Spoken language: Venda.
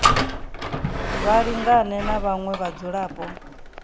vha lingane na vhaṅwe vhadzulapo